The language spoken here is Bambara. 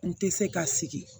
N tɛ se ka sigi